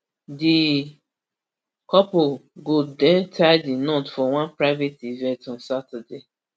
di couple go den tie di knot for one private event on saturday